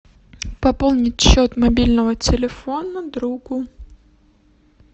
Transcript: пополнить счет мобильного телефона другу